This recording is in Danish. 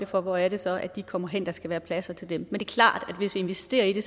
for hvor er det så de kommer hen der skal være pladser til dem men klart at hvis vi investerer i det